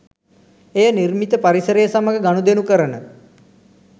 එය නිර්මිත පරිසරය සමඟ ගනුදෙනු කරන